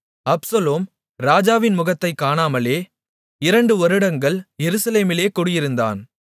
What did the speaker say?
Absalom ராஜாவின் முகத்தைக் காணாமலே இரண்டு வருடங்கள் எருசலேமிலே குடியிருந்தான்